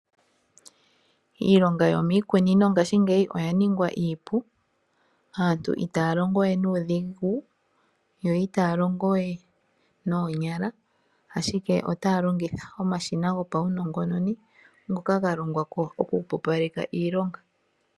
Iilonga yomikunino ngaashi ngeyi oya ningwa iipu, aantu itaya longo we nuudhigu yo itaya longo we noonyala ashike otaya longitha omashina gopawu nongononi ngoka ga longwa oku pupaleka iilonga.